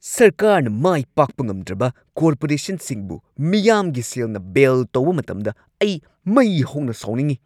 ꯁꯔꯀꯥꯔꯅ ꯃꯥꯏ ꯄꯥꯛꯄ ꯉꯝꯗ꯭ꯔꯕ ꯀꯣꯔꯄꯣꯔꯦꯁꯟꯁꯤꯡꯕꯨ ꯃꯤꯌꯥꯝꯒꯤ ꯁꯦꯜꯅ ꯕꯦꯜ ꯇꯧꯕ ꯃꯇꯝꯗ ꯑꯩ ꯃꯩ ꯍꯧꯅ ꯁꯥꯎꯅꯤꯡꯉꯤ꯫